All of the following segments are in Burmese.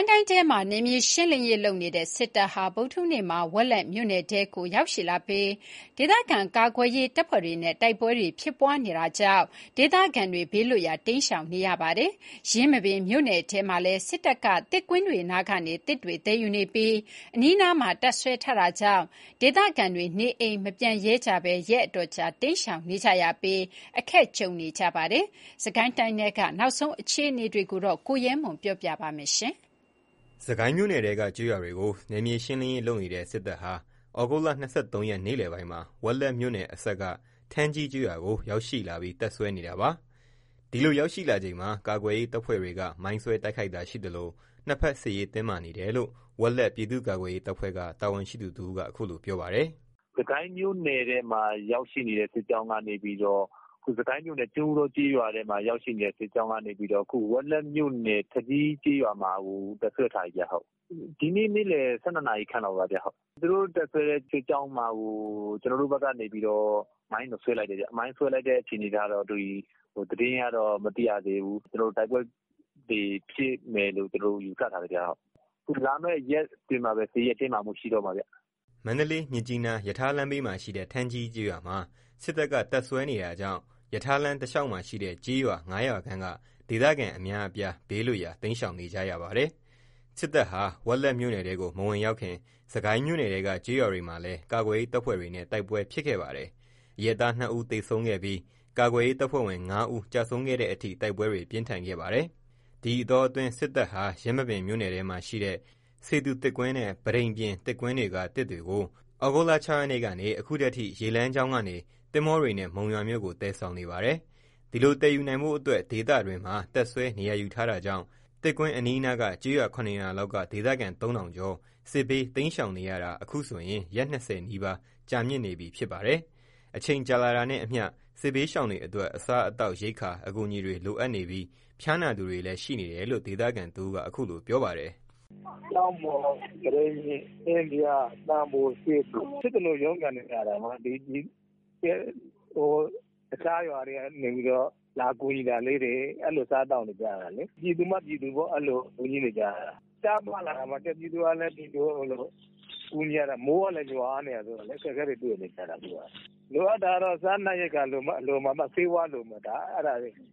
င်းတိုင်းထဲမှာ နယ်မြေရှင်းနေတဲ့စစ်တပ်ဟာ ဗုဒ္ဓဟူးနေ့မှာ ဝက်လက်မြို့နယ်ထဲရောက်လာပြီး ဒေသခံကာကွယ်ရေးတပ်ဖွဲ့တွေနဲ့ တိုက်ပွဲဖြစ်နေတဲ့အတွက် ဒေသခံတွေဘေးလွတ်ရာ တိမ်းရှောင်နေကြရပါတယ်။ ယင်းမာပင် မြို့နယ်ထဲမှာလည်း စစ်တပ်က သစ်ကွင်းတွေကနေ သစ်တွေသယ်ယူနေပြီး အနီးနားမှာတပ်စွဲထားတာကြောင့် ဒေသခံတွေ နေအိမ်မပြန်ရဲကြဘဲ ရက်အတော်ကြာ တိမ်းရှောင်နေကြရင်း အခက် ကြုံနေကြရပါတယ်။ စစ်ကိုင်းတိုင်းထဲက နောက်ဆုံး အခြေအနေတွေကို ကိုရဲမွန်က တင်ပြပေးထားပါတယ်။ စစ်ကိုင်းမြို့နယ်ထဲကကျေးရွာတွေကို နယ်မြေရှင်းနေတဲ့စစ်တပ်ဟာ သြဂုတ်လ ၂၃ ရက်နေ့လယ်ပိုင်းမှာ ဝက်လက်မြို့နယ်အစပ်က ထန်းကြီးကျေးရွာကို ရောက်လာပြီးတပ်စွဲထားပါတယ်။ ဒီလိုရောက်လာချိန်မှာ ကာကွယ်ရေးတပ်ဖွဲ့တွေက မိုင်းဆွဲတိုက်ခိုက်ခဲ့ပြီး နှစ်ဘက်စစ်ရေးတင်းမာနေတယ်လို့ ဝက်လက် ပြည်သူ့ကာကွယ်ရေးတပ်ဖွဲ့က တာဝန်ရှိသူတဦးက အခုလို ပြောပါတယ်။ “စစ်ကိုင်းမြို့နယ် ကျွန်းဦးတောကျေးရွာကိုရောက်နေတဲ့စစ်ကြောင်းက ဝက်လက်မြို့နယ် ထန်းကြီးကျေးရွာမှာ တပ်စွဲထားပြီ။ ဒီနေ့ နေ့လယ် ၁၂ နာရီခန့်လောက်က သူတို့တပ်စွဲတဲ့စစ်ကြောင်းမှာကို ကျနော်တို့ဘက်က မိုင်းတော့ ဆွဲလိုက်တယ်။ မိုင်းဆွဲတဲ့အခြေအနေကို သတင်းကတော့မသိရသေးဘူး။ တိုက်ပွဲတွေဖြစ်မယ်လို့ ယူဆထားတယ်။ လာမယ့်ရက်အတွင်းမှာကို စစ်ရေးက တင်းမာလာတော့မှာ။” မန္တလေး−မြစ်ကြီးနား ရထားလမ်းဘေးမှာရှိတဲ့ ထန်းကြီးကျေးရွာမှာ စစ်တပ်က တပ်စွဲနေတာကြောင့် ရထားလမ်းတလျှောက်မှာရှိတဲ့ ကျေးရွာ ၅ ရွာခန့်က ဒေသခံအများအပြား ဘေးလွတ်ရာတိမ်းရှောင်နေကြရပါတယ်။ စစ်တပ်ဟာ ဝက်လက်မြို့နယ်ထဲကို မဝင်ရောက်ခင် စစ်ကိုင်းမြို့နယ်ထဲက ကျေးရွာတွေမှာလည်း ကာကွယ်ရေးတပ်ဖွဲ့တွေနဲ့ တိုက်ပွဲဖြစ်ခဲ့ပါတယ်။ အရပ်သား ၂ ဦး သေဆုံးခဲ့ပြီး ကာကွယ်ရေးတပ်ဖွဲ့ဝင် ၅ ဦး ကျဆုံးခဲ့တဲ့အထိ တိုက်ပွဲတွေ ပြင်းထန်ခဲ့ပါတယ်။ ဒီအတောအတွင်း စစ်တပ်ဟာ ယင်းမာပင်မြို့နယ်ထဲမှာရှိတဲ့ စေသူ သစ်ကွင်းနဲ့ ပတိန်ပြင် သစ်ကွင်းတွေက သစ်တွေကို သြဂုတ်လ ၆ ရက်ကနေ ဒီကနေ့အထိ ရေလမ်းကြောင်းကနေ သင်္ဘောတွေနဲ့ မုံရွာမြို့ကို သယ်ဆောင်နေပါတယ်။ ဒီလို သယ်ယူနိုင်ဖို့အတွက် ဒေသတွင်းမှာ တပ်စွဲ နေရာယူ ထားတာကြောင့် သစ်ကွင်းအနီးနားက ကျေးရွာ ၇ ရွာလောက်က ဒေသခံ ၃ ထောင်ကျော် စစ်ဘေးတိမ်း ရှောင်နေရတာ အခုဆိုရင် ရက် ၂၀ နီးပါး ကြာမြင့်နေပြီ ဖြစ်ပါတယ်။ အချိန်ကြာလာတာနဲ့အမျှ စစ်ဘေးရှောင်တွေအတွက် အစား အသောက်ရိက္ခာ အကူအညီတွေ လိုအပ်နေပြီး ဖျားနာသူတွေလည်းရှိနေတယ်လို့ ဒေသခံတဦးက အခုလို ပြောပါတယ်။ “အခုရှောင်နေရတာက ကျောက်မှော်၊ ပတိန်ပြင်၊ အင်းဖျား၊ သံပို၊ စေသူ...။ဖြစ်သလို ရုန်းကန်နေရတာ။ အခြားရွာတွေကနေ လာကူညီတာလေးတွေ အဲ့လိုစားသောက်နေကြရတာလေ။ 'ပြည်သူမှပြည်သူ' အဲ့လိုကူညီနေကြရတာပေါ့။ ရှားပါးလာတာပေါ့။ ပြည်သူကပြည်သူကို ကူညီနေရတာဆိုတော့ မိုးကလည်း ရွာနေတာဆိုတော့ အခက်အခဲတွေ တွေ့နေကြရတာ။ လိုအပ်တာ စားနပ်ရိက္ခာလိုမယ် ဆေးဝါးတွေလိုမယ်။ ဖျားနာတွေရှိ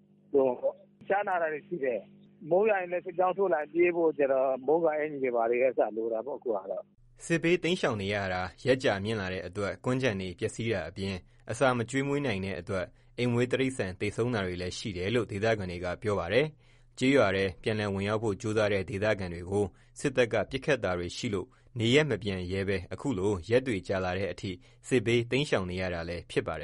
တယ်။ မိုးရွာနေချိန် ပြေးလွှားရဖို့ မိုးကာအကျီတွေ လိုမှာပေါ့။” စစ်ဘေးတိမ်းရှောင်နေရတာ ရက်ကြာမြင့်လာတဲ့အတွက် ကွမ်းခြံတွေပျက်စီးတာအပြင် အစာမကျွေးမွေးနိုင်တဲ့အတွက် အိမ်မွေးတိရစ္ဆာန် သေဆုံးတာတွေလည်း ရှိတယ်လို့ ဒေသခံတွေက ပြောပါတယ်။ ကျေးရွာထဲ ပြန်လည်ဝင်ရောက်ဖို့ ကြိုးစားတဲ့ဒေသခံတွေကို စစ်တပ်ကပစ်ခတ်တာတွေရှိလို့ နေရပ်မပြန်ရဲဘဲ အခုလို ရက်တွေကြာလာတဲ့အထိ စစ်ဘေး တိမ်းရှောင်နေရတာလည်း ဖြစ်ပါတယ်